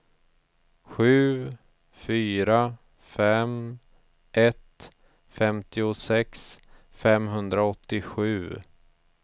sju fyra fem ett femtiosex femhundraåttiosju